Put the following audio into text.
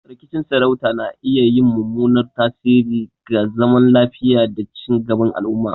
Rikicin sarauta na iya yin mummunan tasiri ga zaman lafiya da ci gaban al'umma.